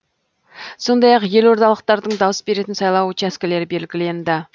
сондай ақ елордалықтардың дауыс беретін сайлау учаскелері белгіленді